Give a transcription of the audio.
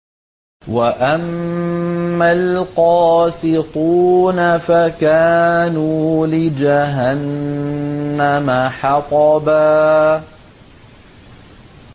وَأَمَّا الْقَاسِطُونَ فَكَانُوا لِجَهَنَّمَ حَطَبًا